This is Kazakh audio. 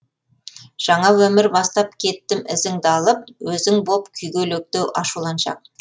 жаңа өмір бастап кеттім ізіңді алып өзің боп күйгелектеу ашуланшақ